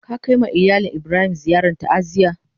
Ka kai ma iyalin Ibrahim ziyaran ta'aziyya?